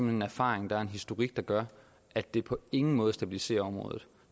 en erfaring og en historik der gør at det på ingen måde stabiliserer området